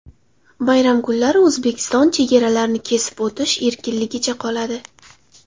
Bayram kunlari O‘zbekiston chegaralarini kesib o‘tish erkinligicha qoladi.